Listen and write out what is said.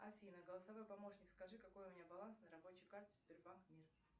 афина голосовой помощник скажи какой у меня баланс на рабочей карте сбербанк мир